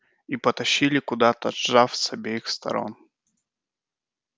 и потащили куда-то сжав с обеих сторон